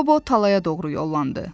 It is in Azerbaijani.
Qobo talaya doğru yollandı.